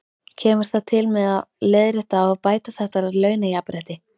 Kemur það til með að leiðrétta og bæta þetta launajafnrétti?